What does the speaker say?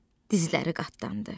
Dizləri qatlandı.